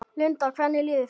Linda: Hvernig líður þér?